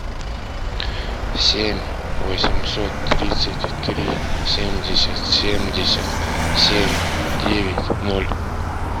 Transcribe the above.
семь восемьсот тридцать три семьдесят семьдесят семь девять ноль